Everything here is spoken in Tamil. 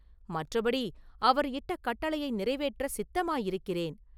மற்றபடி அவர் இட்ட கட்டளையை நிறைவேற்றச் சித்தமாயிருக்கிறேன்.